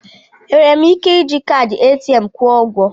Enwere m ike iji kaadị ATM m kwụọ ụgwọ?